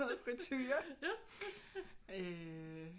Noget friture øh